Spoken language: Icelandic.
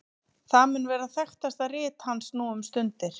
það mun vera þekktasta rit hans nú um stundir